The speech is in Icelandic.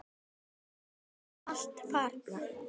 Nú eru þær allar farnar.